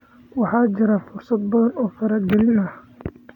Waxaa jira fursado badan oo faragelin ah.